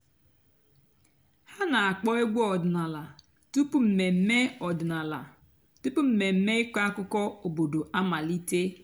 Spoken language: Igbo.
há nà-àkpọ́ ègwú ọ̀dị́náàlà túpú m̀mèmè ọ̀dị́náàlà túpú m̀mèmè ị̀kọ́ àkụ́kọ̀ òbòdo àmàlíté.